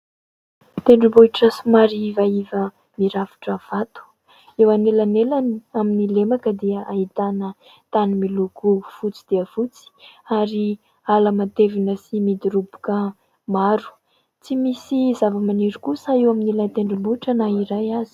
Tendrombohitra somary ivaiva mirafitra vato. Eo anelanelany amin'ny lemaka dia ahitana tany miloko fotsy dia fotsy ary ala matevina sy midiroboka maro. Tsy misy zavamaniry kosa eo amin'ilay tendrombohitra na iray aza.